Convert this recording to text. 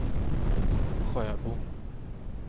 Sjöbo